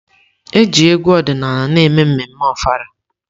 Eji egwu ọdịnala na-eme ememme Ofala.